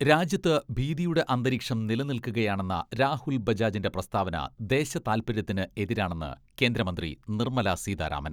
രാജ്യത്ത് ഭീതിയുടെ അന്തരീക്ഷം നിലനിൽക്കുകയാണെന്ന രാഹുൽ ബജാജിന്റെ പ്രസ്താന ദേശതാല്പര്യത്തിന് എതിരാണെന്ന് കേന്ദ്രമന്ത്രി നിർമ്മലാ സീതാരാമൻ.